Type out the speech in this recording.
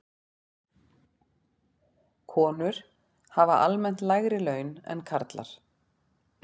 Konur hafa almennt lægri laun en karlar.